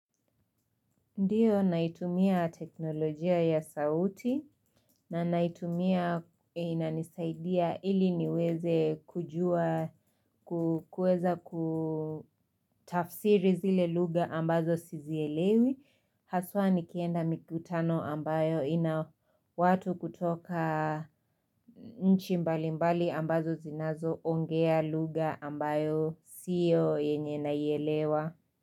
Ndiyo naitumia teknolojia ya sauti na naitumia inanisaidia ili niweze kujua kuweza kutafsiri zile lugha ambazo sizielewi haswa nikienda mikutano ambayo ina watu kutoka nchi mbali mbali ambazo zinazoongea lugha ambayo siyo yenye naiellewa.